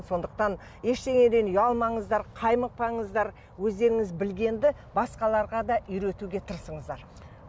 сондықтан ештеңеден ұялмаңыздар қаймықпаңыздар өздеріңіз білгенді басқаларға да үйретуге тырысыңыздар